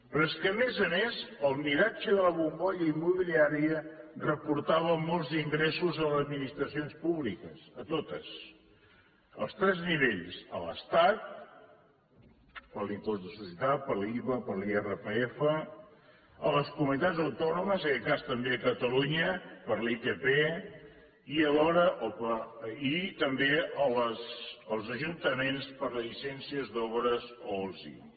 però és que a més a més el miratge de la bombolla immobiliària reportava molts ingressos a les administracions públiques a totes als tres nivells a l’estat per l’impost de societats per l’iva per l’irpf a les comunitats autònomes i en aquest cas també a catalunya per l’itp i alhora també als ajuntaments per les llicències d’obres o els ibi